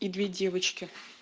и две девочки